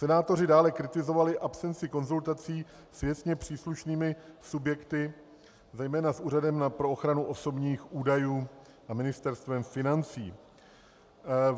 Senátoři dále kritizovali absenci konzultací s věcně příslušnými subjekty, zejména s Úřadem pro ochranu osobních údajů a Ministerstvem financí.